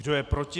Kdo je proti?